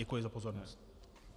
Děkuji za pozornost.